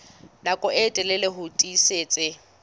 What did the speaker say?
nako e telele ho tiisitse